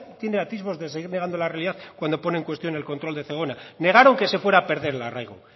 tienen atisbos de seguir negando la realidad cuando ponen en cuestión el control de zegona negaron que se fuera a perder el arraigo